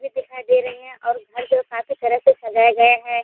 ये दिखाई दे रह है और घर जो है काफी तरह से सजाये हैं।